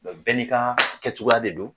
Mɛ bɛɛ ni ka kɛcogo de don.